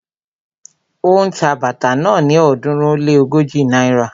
Ó ń ta bàtà náà ni ọ̀ọ́dúnrún ó lé ógójì náírà